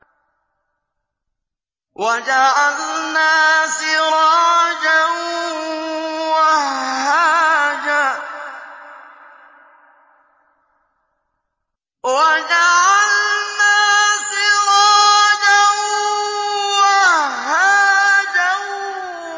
وَجَعَلْنَا سِرَاجًا وَهَّاجًا